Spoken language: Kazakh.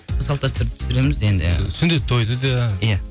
салт дәстүрді түсіреміз енді ы сүндет тойды да иә